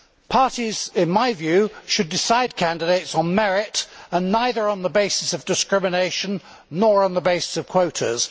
Parties, in my view, should decide candidates on merit, and neither on the basis of discrimination nor on the basis of quotas.